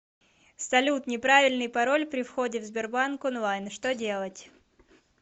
салют неправильный пароль при входе в сбербанк онлайн что делать